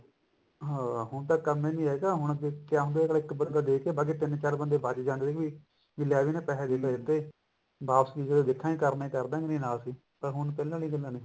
ਹਾਂ ਹੁਣ ਤਾਂ ਕੰਮ ਵੀ ਇਹੋ ਜਾ ਹੁਣ ਕਿਆ ਹੁੰਦਾ ਅੱਗਲਾ ਇੱਕ burger ਦੇਕੇ ਬਾਕੀ ਤਿੰਨ ਚਾਰ ਬੰਦੇ ਬੱਚ ਜਾਂਦੇ ਨੇ ਲੀ ਲੈ ਵੀ ਇੰਨੇ ਪੈਸੇ ਦੇ ਦਿੱਤੇ ਵਾਪਸੀ ਜਦੋਂ ਦੇਖਾਂਗੇ ਕਰਨੇ ਹੋਣਗੇ ਕਰਦਾਂਗੇ ਨਹੀਂ ਤਾਂ ਨਾ ਸੀ ਪਰ ਹੁਣ ਪਹਿਲਾਂ ਵਰਗੀ ਗੱਲਾ ਨੀ